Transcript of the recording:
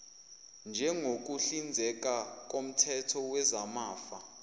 njengokuhlinzeka koomthetho wezamafa